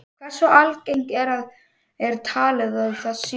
Hversu algengt er talið að það sé?